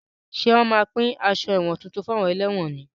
Ṣé wọn má pín aṣọ ẹ̀wọ̀n tuntun fún àwọn ẹlẹ́wọ̀n ni?